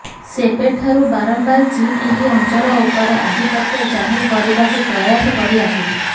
ସେବେଠାରୁ ବାରମ୍ବାର ଚୀନ ଏହି ଅଞ୍ଚଳ ଉପରେ ଆଧିପତ୍ୟ ଜାହିର କରିବାକୁ ପ୍ରୟାସ କରି ଆସୁଛି